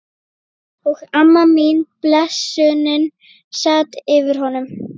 Og amma mín, blessunin, sat yfir honum.